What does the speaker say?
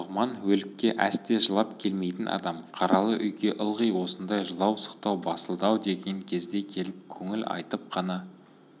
нұғыман өлікке әсте жылап келмейтін адам қаралы үйге ылғи осындай жылау-сықтау басылды-ау деген кезде келіп көңіл айтып қана